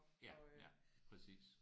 Ja ja præcis